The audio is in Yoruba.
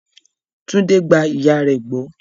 Tunde gba ìyà rẹ̀ gbọ́.